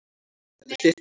Þetta er þitt dæmi.